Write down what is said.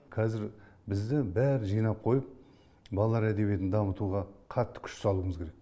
қазір бізге бәрін жинап қойып балалар әдебиетін дамытуға қатты күш салуымыз керек